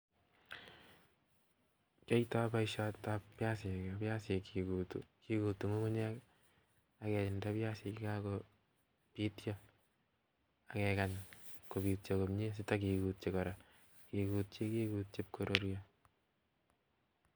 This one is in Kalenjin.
Kiyoito boiset ab biasik, kigutu ng'ungunyek ii aginde biasik chekakobityo akekany kobityo komye sito kigutyi kora, kigutyi kigutyi iib koruryo